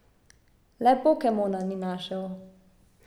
Le pokemona ni našel.